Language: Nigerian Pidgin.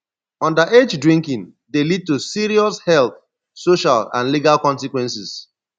underage drinking dey lead to serious health social and legal consequences